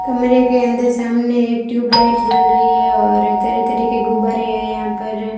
कमरे के अंदर सामने एक ट्यूबलाइट जल रहीं हैं और तरह तरह के गुब्बारें हैं यहाँ पर--